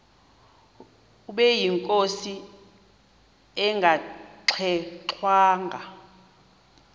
ubeyinkosi engangxe ngwanga